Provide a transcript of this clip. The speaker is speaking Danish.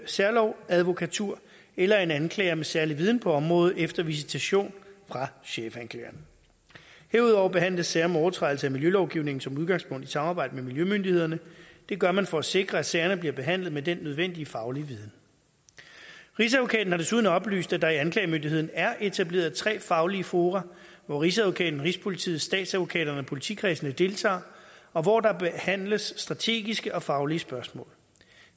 særlovadvokatur eller af en anklager med særlig viden på området efter visitation fra chefanklageren derudover behandles sager om overtrædelse af miljølovgivningen som udgangspunkt i et samarbejde med miljømyndighederne det gør man for at sikre at sagerne bliver behandlet med den nødvendige faglige viden rigsadvokaten har desuden oplyst at der i anklagemyndigheden er etableret tre faglige fora hvor rigsadvokaten rigspolitiet statsadvokaterne og politikredsene deltager og hvor der behandles strategiske og faglige spørgsmål